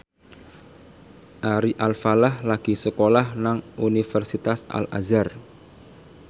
Ari Alfalah lagi sekolah nang Universitas Al Azhar